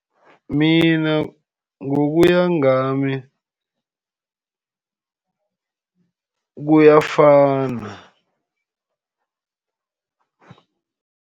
Mina ngokuya ngami, kuyafana.